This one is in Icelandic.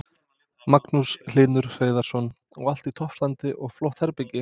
Magnús Hlynur Hreiðarsson: Og allt í toppstandi og flott herbergi?